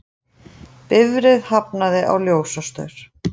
Bifreið hafnaði á ljósastaur